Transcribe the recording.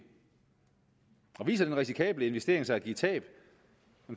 viser den risikable investering sig at give tab